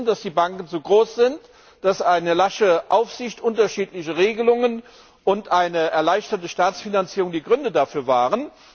Wir wissen, dass die Banken zu groß sind, dass eine lasche Aufsicht, unterschiedliche Regelungen und eine erleichterte Staatsfinanzierung die Gründe dafür waren.